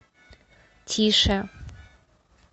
тише